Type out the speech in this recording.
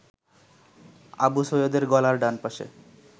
আবু সৈয়দের গলার ডানপাশে